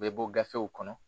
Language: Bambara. U bɛ bɔ gafew kɔnɔ